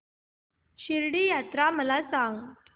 शिर्डी यात्रा मला सांग